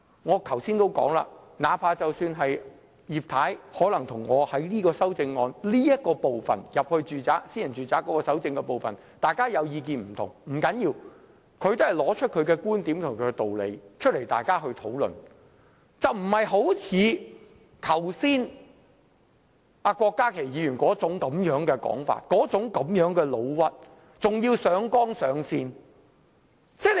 我剛才也說，哪怕是葉太可能就這組修正案有關進入私人住宅搜證這部分有不同意見，不要緊，她也是提出觀點和道理讓大家討論，而非像郭家麒議員剛才般，用上那種說法和"老屈"的態度，還要上綱上線。